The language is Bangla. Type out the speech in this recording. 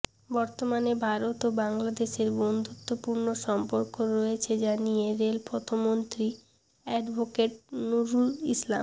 বর্তমানে ভারত ও বাংলাদেশের বন্ধুত্বপূর্ণ সম্পর্ক রয়েছে জানিয়ে রেলপথমন্ত্রী অ্যাডভোকেট নুরুল ইসলাম